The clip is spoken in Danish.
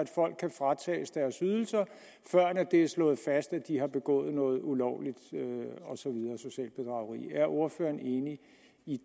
kan fratages deres ydelser før det er slået fast at de har begået noget ulovligt socialt bedrageri er ordføreren enig i